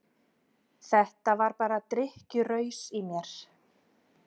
Þetta var bara drykkjuraus í mér.